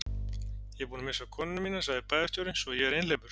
Ég er búinn að missa konuna mína sagði bæjarstjórinn, svo að ég er einhleypur.